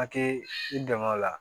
A tɛ i dɛmɛ o la